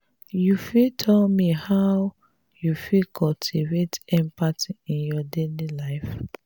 you fit tell me how you fit cultivate empathy in your daily life?